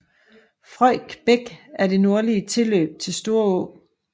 Frøjk Bæk er et nordligt tilløb til Storå